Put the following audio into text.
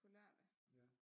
På lørdag